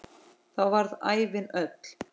Þá varð ævin öll.